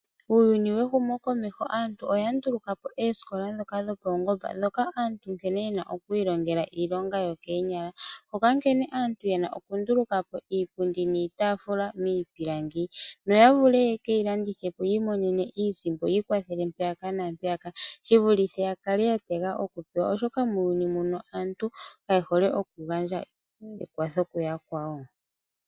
Uuyuni wehumo komeho aantu oyandulukapo oosikola dhoka dhopaungomba dhoka aantu nkene yena okwiilongela iilonga yokeenyala, hoka nkene aantu yena okundulukapo iipundi niitafula miipilangi. Noya vule yekeyilandithipo yiimonenemo iisimpo yiikwathele mpeyaka naampeyaka, shivulithe yakale yatega okupewa oshoka muuyuni muno aantu kayehole okugandja ekwatho kuyakwawo.